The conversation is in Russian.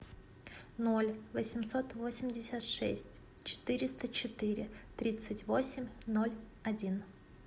ноль восемьсот восемьдесят шесть четыреста четыре тридцать восемь ноль один